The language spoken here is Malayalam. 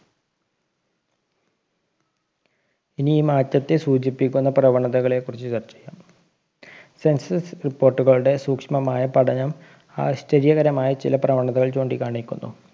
ഇനി ഈ മാറ്റത്തെ സൂചിപ്പിക്കുന്ന പ്രവണതകളെ കുറിച്ച് ചർച്ച ചെയ്യാം census report കളുടെ സൂക്ഷ്‌മമായ പഠനം ആശ്ചര്യകരമായ ചില പ്രവണതകൾ ചൂണ്ടികാണിക്കുന്നു